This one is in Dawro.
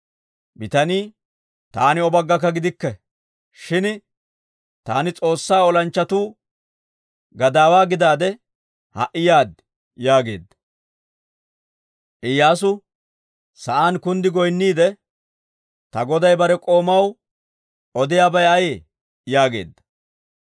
Bitanii, «Taani O baggakka gidikke. Shin taani S'oossaa olanchchatuu gadaawaa gidaade ha"i yaad» yaageedda. Iyyaasu sa'aan kunddi goynniide, «Ta goday bare k'oomaw odiyaabay ayee?» yaageedda.